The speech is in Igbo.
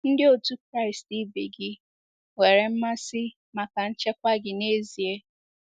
Ndị otu Kraịst ibe gị nwere mmasị maka nchekwa gị n'ezie.